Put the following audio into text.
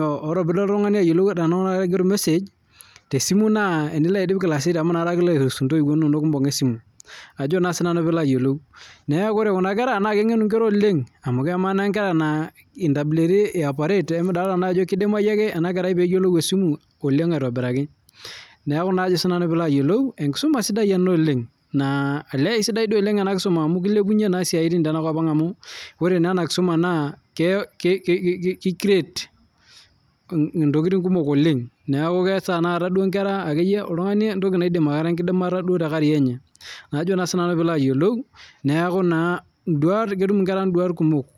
ore pilo oltung'ani ayiolou aigero ormesej tesimu naa tenilo audio class eight amu enakata kipuo ntoiwuo airuhusu ebunga esimu neeku ore Kuna naa kengenu oleng amu emaa naa Nkera naa ntabuleti ee operate emidolita naa Nkera Ajo kidimayu ake ena kera pee eyiolou esimu aitobiraki enkisuma sidai ena oleng naa esidai oleng amu kilepunye esiatin tenakop ang amu ore naa ena kisuma naa kicreate ntokitin kumok oleng neeku keas Nkera ntokitin enkidimata nataa tee carrier enye neeku ketum enkera nduat kimok